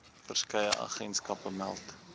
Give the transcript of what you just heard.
verskeie agentskappe meld